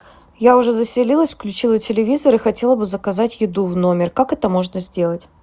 я уже заселилась включила телевизор и хотела бы заказать еду в номер как это можно сделать